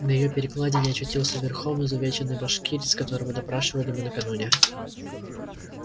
на её перекладине очутился верхом изувеченный башкирец которого допрашивали мы накануне